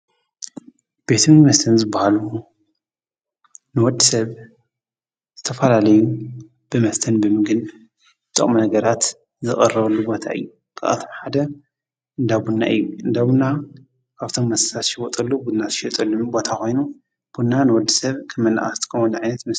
ቤትም መስተን ዝበሃሉ ንወድ ሰብ ዝተፋላለዩ ብመስተን ብምግን ጥቕም ነገራት ዝቐረወሉ ቦታ እዩ። ኽኣትምሓደ እንዳቡናይ እዩ፤ እንዳሙና ኣብቶም መስሳሽወጠሉ ብናት ሸጡልሚ ቦታ ኾይኑ ቡና ንወዲ ሰብ ክመናኣስተምል እምነት እዩ።